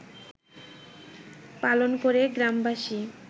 পালন করে গ্রামবাসী